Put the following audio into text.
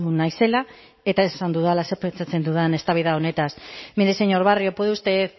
naizela eta esan dudala zer pentsatzen dudan eztabaida honetaz mire señor barrio puede usted